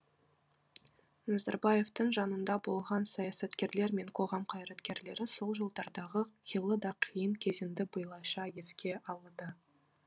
назарбаевтың жанында болған саясаткерлер мен қоғам қайраткерлері сол жылдардағы қилы да қиын кезеңді былайша еске алады